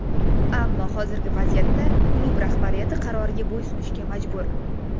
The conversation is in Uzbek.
Ammo hozirgi vaziyatda klub rahbariyati qaroriga bo‘ysunishga majbur.